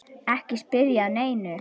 Ekki spyrja að neinu!